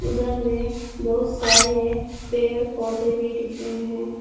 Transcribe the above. उधर में बहुत सारे पेड़ पौधे भी दिख रहे हैं।